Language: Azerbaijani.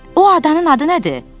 O adanın adı nədir?